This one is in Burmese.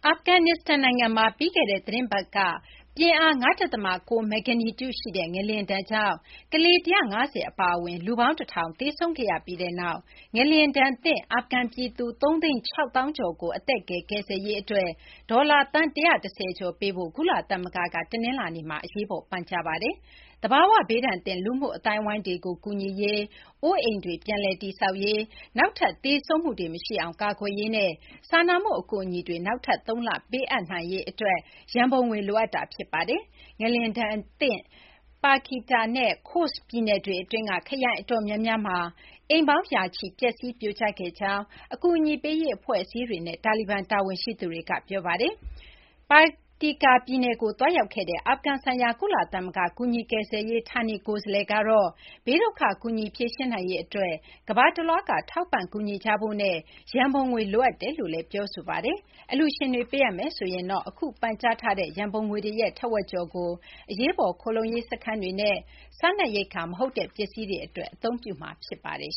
ာဖဂန်နစ္စတန် နိုင်ငံမှာ ပြီးခဲ့တဲ့ သီတင်းပတ်က ပြင်းအား ၅ ဒသမ ၉ မဂ္ဂနီကျူရှိတဲ့ ငလျင်ဒဏ်ကြောင့် ကလေး ၁၅၀ အပါအဝင် လူပေါင်း ၁၀၀၀ သေဆုံးခဲ့ရပြီးနောက် ငလျင်ဒဏ်သင့် အာဖဂန် ပြည်သူ ၃၆၀,၀၀၀ ကျော်ကို အသက်ကယ် ကယ်ဆယ်ရေး အတွက် ဒေါ်လာ သန်း ၁၁၀ ကျော် ပေးဖို့ ကုလသမဂ္ဂက တနလာၤနေ့မှာ အရေးပေါ် ပန်ကြားလိုက်ပါတယ်။ သဘာ၀ ဘေးဒဏ်သင့် လူမှုအသိုင်းအဝိုင်းတွေကို ကူညီရေး၊ အိုးအိမ်တွေ ပြန်လည် တည်ဆောက်ရေး၊ နောက်ထပ် သေဆုံးမှုတွေ မရှိအောင် ကာကွယ်ရေးနဲ့ စာနာမှု အကူအညီတွေ နောက်ထပ် သုံးလ ပေးအပ်နိုင်ရေး အတွက် ရန်ပုံငွေ လိုအပ်နေတာ ဖြစ်ပါတယ်။ ငလျင်ဒဏ်ကြောင့် Paktika နဲ့ Khost ပြည်နယ်တွေ အတွင်းက ခရိုင် အတော်များများမှာ ရာနဲ့ချီတဲ့ အိမ်တွေ ပျက်စီး၊ ပြိုကျ ခဲ့ကြောင်း အကူအညီပေးရေး အဖွဲ့အစည်းတွေနဲ့ တာလီဘန် တာဝန်ရှိသူတွေက ပြောပါတယ်။ ငလျင်ဒဏ်သင့် Paktika ပြည်နယ်တွင်းကို သွားရောက်ခဲ့တဲ့ အာဖဂန်ဆိုင်ရာ ကုလသမဂ္ဂ ကူညီကယ်ဆယ်ရေး ဌာနေကိုယ်စားလှယ် Ramiz Alakbarov ကတော့ ဘေးဒုက္ခ ကူညီဖြေရှင်းနိုင်ရေး အတွက် ကမ ္ဘာတလွှားက ထောက်ပံ့ ကူညီကြဖို့နဲ့ ရန်ပုံငွေ လိုအပ်ကြောင်း ပြောကြားခဲ့ပါတယ်။ အလှူရှင်တွေက ပေးအပ်မယ်ဆိုရင်တော့ အခု ပန်ကြားထားတဲ့ ရန်ပုံငွေရဲ့ ထက်ဝက် ကျော်ကို အရေးပေါ် ခိုလှုံရေး စခန်းတွေနဲ့ စားနပ်ရိက္ခာ မဟုတ်တဲ့ ပစ္စည်းတွေ အတွက် အသုံးပြုမှာ ဖြစ်ပါတယ်